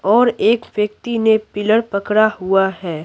और एक व्यक्ति ने पिलर पकड़ा हुआ है।